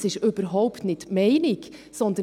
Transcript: das ist überhaupt nicht die Meinung.